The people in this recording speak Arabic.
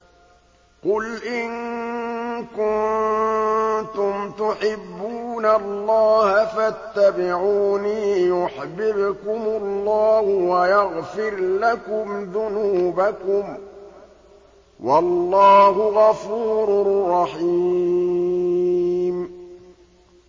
قُلْ إِن كُنتُمْ تُحِبُّونَ اللَّهَ فَاتَّبِعُونِي يُحْبِبْكُمُ اللَّهُ وَيَغْفِرْ لَكُمْ ذُنُوبَكُمْ ۗ وَاللَّهُ غَفُورٌ رَّحِيمٌ